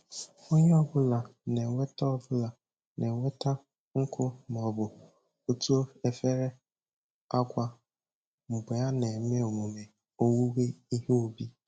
Onye ọbụla na-eweta ọbụla na-eweta nkụ maọbụ otu efere agwa mgbe a na-eme emume owuwe ihe ubi